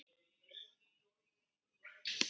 Hún sá Guðrúnu ekki framar.